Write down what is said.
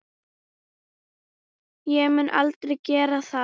Ég mun aldrei gera það.